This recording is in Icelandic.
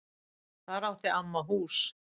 Þar átti amma hús.